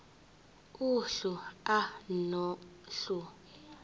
uhlu a nohlu